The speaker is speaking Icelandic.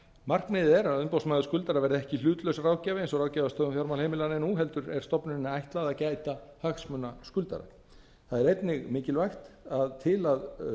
markmiðið er að umboðsmaður skuldara verði ekki hlutlaus ráðgjafi eins og ráðgjafarstofa um fjármál heimilanna er nú heldur er stofnuninni ætlað að gæta hagsmuna skuldara það er einnig mikilvægt að til að